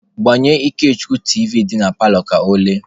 Gbanyelụ Ikechukwu tiivi dị na paalọ ka ọ lee!.